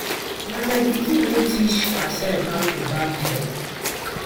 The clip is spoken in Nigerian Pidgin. Na my pikin wey teach herself how to barb hair